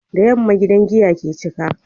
Da yamma gidan giya ke cika